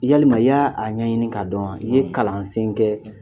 Yalima i y'a ɲɛɲini k'a dɔn wa, I ye kalansen kɛ